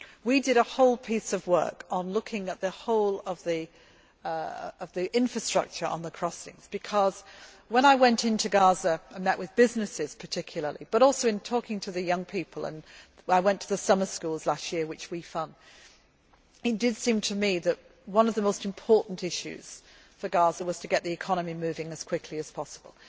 We did a complete piece of work on looking at the whole of the infrastructure on the crossings because, when I went into Gaza and met with businesses, particularly, but also in talking to the young people and I went to the summer schools last year which we fund it did seem to me that one of the most important issues for Gaza was to get the economy moving as quickly as possible.